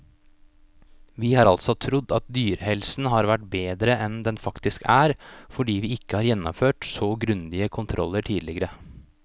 Vi har altså trodd at dyrehelsen har vært bedre enn den faktisk er, fordi vi ikke har gjennomført så grundige kontroller tidligere.